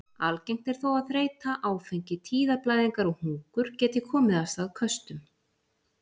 Algengt er þó að þreyta, áfengi, tíðablæðingar og hungur geti komið af stað köstum.